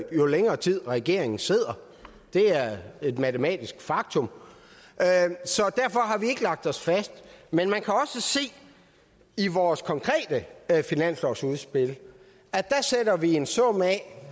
jo længere tid regeringen sidder det er et matematisk faktum så derfor har vi ikke lagt os fast men man kan se i vores konkrete finanslovsudspil at der sætter vi en sum af